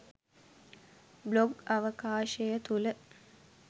blog අවකාශය තුල